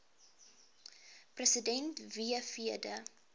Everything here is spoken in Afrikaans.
president fw de